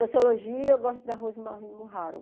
Sociologia, eu gosto da Rosemary Mujaro.